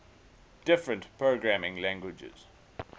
different programming languages